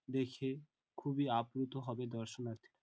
দেখে খুবই আপ্লুত হবে দর্শনাথী রা--